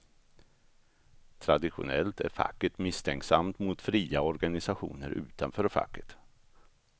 Traditionellt är facket misstänksamt mot fria organisationer utanför facket.